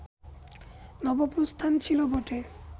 নবপ্রস্থান ছিল বটে